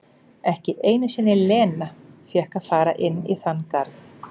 Ekki einu sinni Lena fékk að fara inn í þann garð.